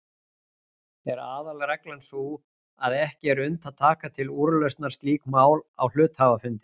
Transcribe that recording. Er aðalreglan sú að ekki er unnt að taka til úrlausnar slík mál á hluthafafundi.